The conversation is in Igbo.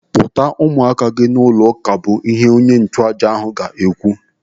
Kpọta ụmụaka gị n'ụlọ ụka bụ ihe onye nchụàjà ga-ekwu.